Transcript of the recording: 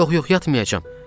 Yox, yox, yatmayacam.